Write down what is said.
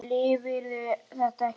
Lifirðu þetta ekki af?